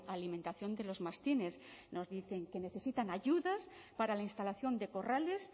alimentación de los mastines nos dicen que necesitan ayudas para la instalación de corrales